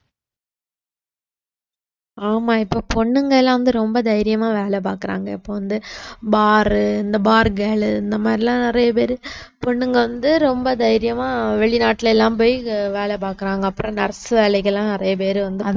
ஆமா இப்போ பொண்ணுங்க எல்லாம் வந்து ரொம்ப தைரியமா வேலை பாக்குறாங்க இப்போ வந்து bar இந்த bar girl இந்த மாதிரி எல்லாம் நிறைய பேரு பொண்ணுங்க வந்து ரொம்ப தைரியமா வெளிநாட்டுல எல்லாம் போய் வேலை பாக்குறாங்க அப்புறம் nurse வேலைகள் எல்லாம் நிறைய பேர் வந்து